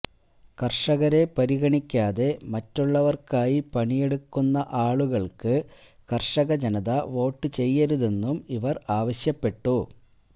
കര്ഷകരെ പരിഗണിക്കാതെ മറ്റുള്ളവര്ക്കായി പണിയെടുക്കുന്ന ആളുകള്ക്ക് കര്ഷക ജനത വോട്ട് ചെയ്യരുതെന്നും ഇവര് ആവശ്യപ്പെട്ടു